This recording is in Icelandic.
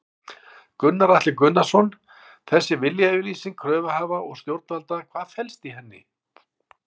Gunnar Atli Gunnarsson: Þessi viljayfirlýsing kröfuhafa og stjórnvalda, hvað felst í henni?